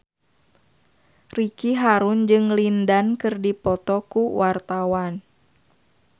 Ricky Harun jeung Lin Dan keur dipoto ku wartawan